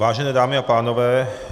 Vážené dámy a pánové.